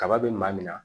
Kaba be maa min na